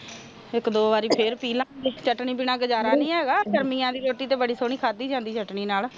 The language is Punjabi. ਇਕ ਦੋ ਵਾਰੀ ਫੇਰ ਪੀਹ ਲਾਂਗੇ ਚਟਨੀ ਤੋਹ ਬਿਨਾ ਗੁਜ਼ਾਰਾ ਨੀ ਹੇਗਾ ਗਰਮੀ ਦੀ ਰੋਟੀ ਬੜੀ ਸੋਹਣੀ ਖਾਦੀ ਜਾਂਦੀ ਹੈ